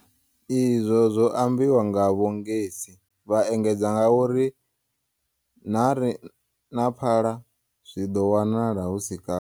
izwo zwo ambiwa nga Vho Ngesi, vha engedza ngauri ṋari na phala zwi ḓo wanala hu si kale.